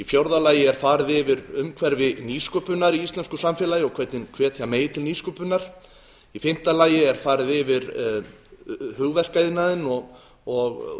fjórða farið er yfir umhverfi nýsköpunar í íslensku samfélagi og hvernig hvetja megi til nýsköpunar fimmta farið er yfir hugverkaiðnaðinn og